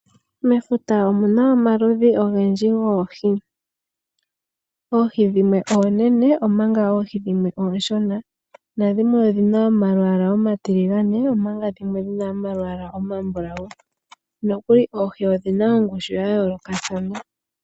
Mefuta omuna omaludhi ogendji goohi. Oohi dhimwe oonene omanga dhimwe ooshona, nadhimwe odhina omalwaala omatiligane, omanga dhimwe odhina omalwaala omambulawu. Odhina woo oongushu dhayoolokathana.